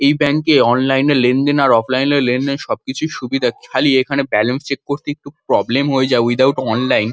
এই ব্যাঙ্ক -এ অনলাইন -এ লেনদেন আর অফলাইন -এ লেনদেন সবকিছুই সুবিধা। খালি এখানে ব্যালান্স চেক করতেই একটু প্রব্লেম হয়ে যায় ওয়িথআউট অনলাইন ।